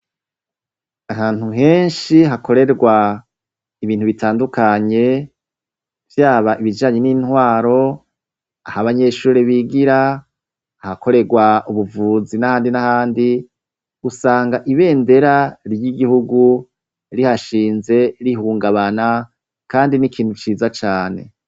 Ahantu henshi hakorerwa ibintu bitandukanye, vyaba ibijanye n'intwaro, aho abanyeshure bigira, ahakorerwa ubuvuzi n'ahandi n'ahandi, usanga ibendera ry'igihugu rihashinze rihungabana kandi n'ikintu ciza cane.